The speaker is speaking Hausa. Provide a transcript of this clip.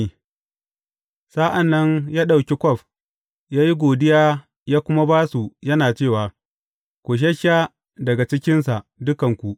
Sa’an nan ya ɗauki kwaf, ya yi godiya, ya kuma ba su, yana cewa, Ku shassha daga cikinsa, dukanku.